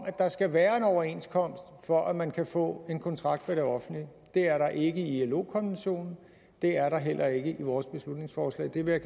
at der skal være en overenskomst for at man kan få en kontrakt med det offentlige det er der ikke i ilo konventionen det er der heller ikke i vores beslutningsforslag det vil